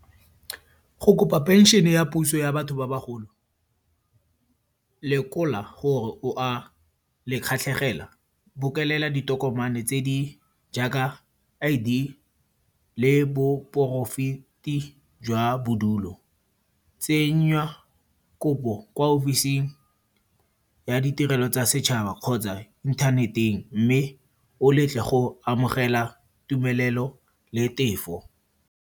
Go kopa phenšene ya puso ya batho ba bagolo, lekola gore o a lekgatlhegela. Bokolela ditokomane tse di jaaka di I_D le boporaefete jwa bodulo. Tsenya kopo kwa office-ing ya ditirelo tsa setšhaba kgotsa inthaneteng mme o letle go amogela tumelelo le tefo.